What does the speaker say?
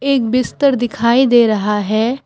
एक बिस्तर दिखाई दे रहा है।